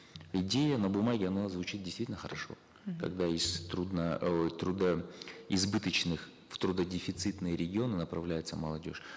идея на бумаге она звучит действительно хорошо когда из ой трудоизбыточных в трудодефицитные регионы направляется молодежь